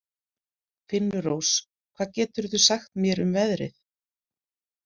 Finnrós, hvað geturðu sagt mér um veðrið?